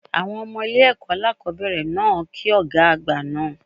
Àwọn Ọmọ ilé èkó alákòóbèrè náà ki Ògá àgbà naa